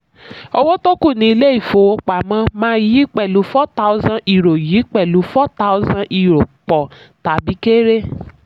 owó tó kù ní ilé ìfowópamọ́ máa yí pẹ̀lú four thousand euro yí pẹ̀lú four thousand euro pọ̀ tàbí kéré.